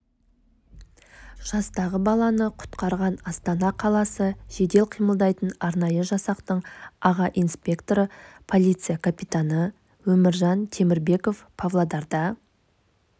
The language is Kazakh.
жастағы баланы құтқарған астана қаласы жедел қимылдайтын арнайы жасақтың аға инспекторы полиция капитаны өміржан темірбеков павлодарда